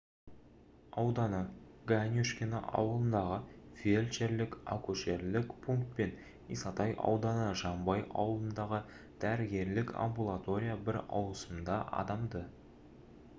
ауданы ганюшкино ауылындағы фельдшерлік-акушерлік пункт пен исатай ауданы жанбай ауылындағы дәрігерлік амбулатория бір ауысымда адамды